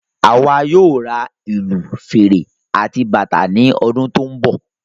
Àwa yóò ra ìlù, fèrè àti bàtà ní ọdún tó n bọ